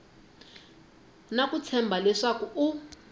na ku tshemba leswaku u